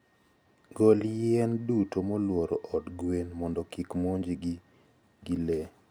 Gol yien duto molworo od gwen mondo kik monji gi gi le.